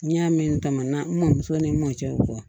N y'a mɛn tama na n mɔmuso ni n mɔcɛw fɔ